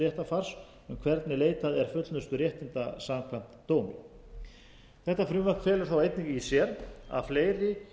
hvernig leitað er fullnusturéttinda samkvæmt dómi þetta frumvarp felur einnig í sér að fleiri